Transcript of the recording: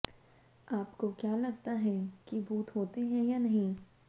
आपको क्या लगता है कि भूत होता हैं या नहीं